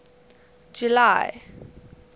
july